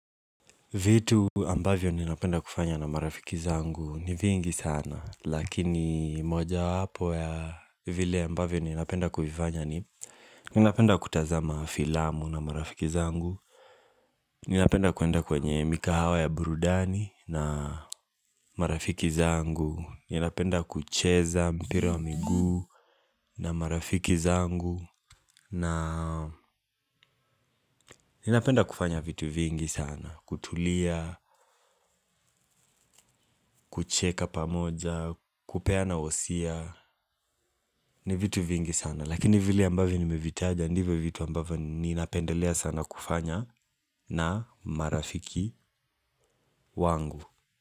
Vitu ambavyo ninapenda kufanya na marafiki zangu ni vingi sana lakini moja wapo ya vile ambavyo ninapenda kuvifanya ni ninapenda kutazama filamu na marafiki zangu ninapenda kuenda kwenye mikahawa ya burudani na marafiki zangu ninapenda kucheza mpira wa miguu na marafiki zangu na ninapenda kufanya vitu vingi sana kutulia, kucheka pamoja, kupeana wosia ni vitu vingi sana lakini vilie ambavyo nimevitaja ndivyo vitu ambayo ninapendelea sana kufanya na marafiki wangu.